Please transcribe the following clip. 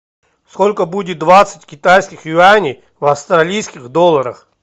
сколько будет двадцать китайских юаней в австралийских долларах